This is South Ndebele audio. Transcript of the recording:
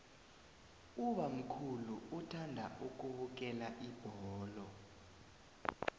ubamkhulu uthanda ukubukela ibholo